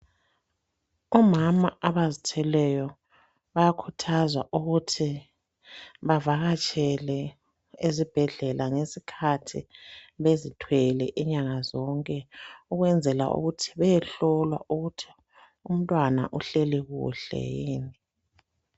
Omama abazithweleyo bayakhuthazwa ukuthi bavakatshele ezibhedlela ngezikhathi bezithwele inyanga zonke, ukwenzela ukuthi beyehlolwa ukuthi umntwana uhleli kuhle yini.